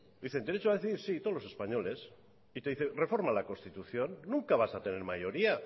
dice derecho a decidir sí todos los españoles y te dice reforma la constitución nunca vas a tener mayoría